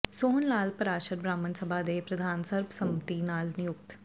ਸੋਹਣ ਲਾਲ ਪਰਾਸ਼ਰ ਬ੍ਰਾਹਮਣ ਸਭਾ ਦੇ ਪ੍ਰਧਾਨ ਸਰਬ ਸੰਮਤੀ ਨਾਲ ਨਿਯੁਕਤ